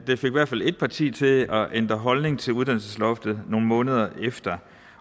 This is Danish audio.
i hvert fald et parti til at ændre holdning til uddannelsesloftet nogle måneder efter